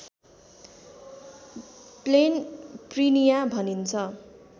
plain prinia भनिन्छ